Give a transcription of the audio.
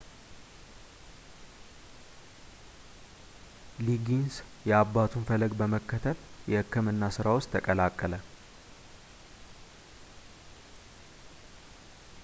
ሊጊንስ የአባቱን ፈለግ በመከተል የሕክምና ስራ ውስጥ ተቀላቀለ